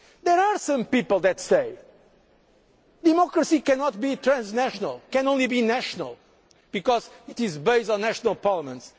is important. There are some people who say democracy cannot be transnational and can only be national because it is based on national